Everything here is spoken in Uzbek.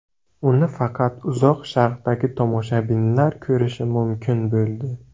Uni faqat Uzoq Sharqdagi tomoshabinlar ko‘rishi mumkin bo‘ldi.